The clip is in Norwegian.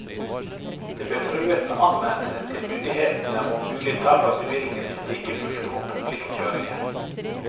De ble truet med anmeldelse til myndighetene og mulig tap av bevilling hvis de ikke fulgte opp pliktkjøringen.